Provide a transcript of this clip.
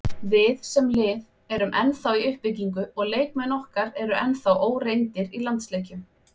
Við, sem lið, erum ennþá í uppbyggingu og leikmenn okkar eru ennþá óreyndir í landsleikjum.